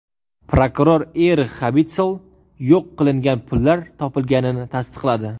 Prokuror Erix Xabitsl yo‘q qilingan pullar topilganini tasdiqladi.